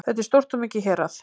Þetta er stórt og mikið hérað